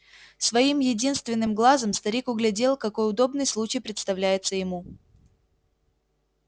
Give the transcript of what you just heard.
своим единственным глазом старик углядел какой удобный случай представляется ему